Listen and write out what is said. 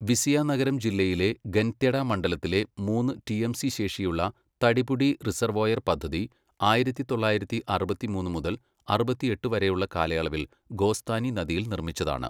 വിസിയനഗരം ജില്ലയിലെ ഗൻത്യട മണ്ഡലത്തിലെ മൂന്ന് ടിഎംസി ശേഷിയുള്ള തടിപുടി റിസർവോയർ പദ്ധതി ആയിരത്തി തൊള്ളായിരത്തി അറുപത്തിമൂന്ന് മുതൽ അറുപത്തിയെട്ട് വരെയുള്ള കാലയളവിൽ ഗോസ്ഥാനി നദിയിൽ നിർമ്മിച്ചതാണ്.